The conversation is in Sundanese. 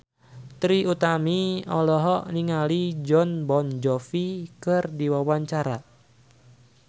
Trie Utami olohok ningali Jon Bon Jovi keur diwawancara